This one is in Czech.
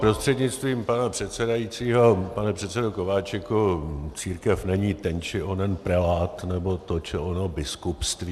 Prostřednictvím pana předsedajícího pane předsedo Kováčiku, církev není ten či onen prelát nebo to či ono biskupství.